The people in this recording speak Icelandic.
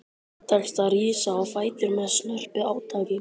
Tekst að rísa á fætur með snörpu átaki.